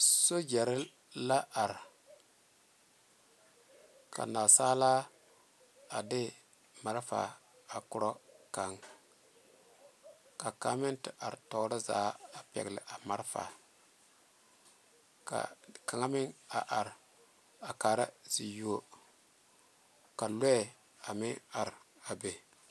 Sogyare la are ka naasaalaa a de maarefaa a ko'o kaŋa ka kaŋa meŋ te are tɔɔre zaa a pegle a maarefaa ka kaŋa meŋ a are a kaa zie yuo ka lɔɛ a meŋ are a be.